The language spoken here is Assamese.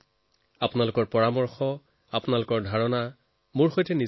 এতিয়া যিকোনো ধৰণৰ পৰামৰ্শ আইডিয়া সেয়া মোলৈ জৰুৰ পঠিয়াই থাকক